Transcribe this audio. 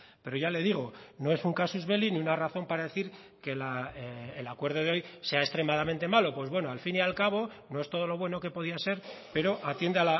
pero ya le digo no es un casus belli ni una razón para decir que el acuerdo de hoy sea extremadamente malo pues bueno al fin y al cabo no es todo lo bueno que podía ser pero atiende